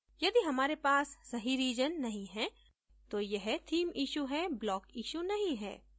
यदि हमारे पास सही region नहीं है तो यह theme issue है block issue नहीं है